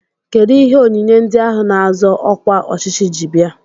Kedụ ihe onyinye ndị ahụ na-azọ ọkwa ọchịchị ji bịa?